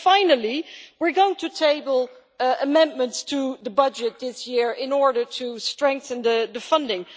Finally, we are going to table amendments to the budget this year in order to strengthen the funding.